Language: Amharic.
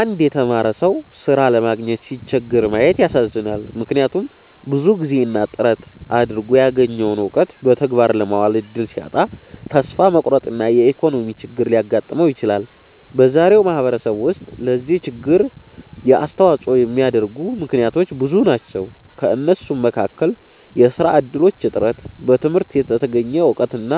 አንድ የተማረ ሰው ሥራ ለማግኘት ሲቸገር ማየት ያሳዝናል፤ ምክንያቱም ብዙ ጊዜና ጥረት አድርጎ ያገኘውን እውቀት በተግባር ለማዋል እድል ሲያጣ ተስፋ መቁረጥና የኢኮኖሚ ችግር ሊያጋጥመው ይችላል። በዛሬው ማህበረሰብ ውስጥ ለዚህ ችግር የሚያስተዋጽኦ የሚያደርጉ ምክንያቶች ብዙ ናቸው። ከእነሱም መካከል የሥራ እድሎች እጥረት፣ በትምህርት የተገኘ እውቀትና